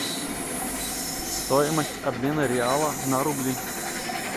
стоимость обмена реала на рубли